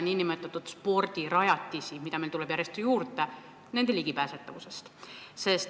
Mõtlen ligipääsetavust spordirajatistele, mida meil järjest juurde tuleb.